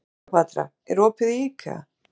Kleópatra, er opið í IKEA?